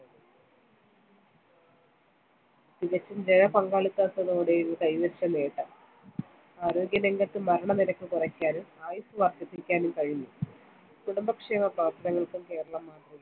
തികച്ചും ജനപങ്കാളിത്തത്തോടുകൂടി കൈവരിച്ച നേട്ടം ആരോഗ്യരംഗത്ത് മരണനിരക്ക് കുറക്കാനും ആയുസ്സ് വർദ്ധിപ്പിക്കാനും കഴിഞ്ഞു, കുടുംബക്ഷേമ പ്രവർത്തനത്തിൽ കേരളം